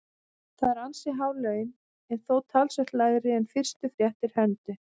Það eru ansi há laun en þó talsvert lægri en fyrstu fréttir hermdu.